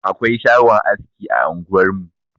Akwai shagon aski a anguwarmu.